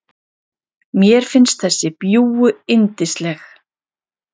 Mér finnst þessi bjúgu yndisleg.